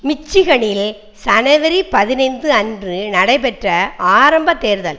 மிச்சிகனில் ஜனவரி பதினைந்து அன்று நடைபெற்ற ஆரம்ப தேர்தல்